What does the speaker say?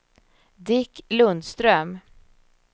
Dick Lundström